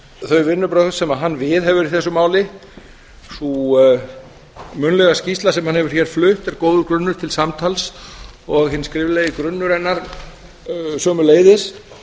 þau vinnubrögð sem hann viðhefur í þessu máli sú munnlega skýrsla sem hann hefur hér flutt er góður grunnur til samtals og hinn skriflegi grunnur hennar sömuleiðis